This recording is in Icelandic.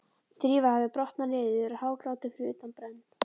Drífa hafði brotnað niður og hágrátið fyrir utan brenn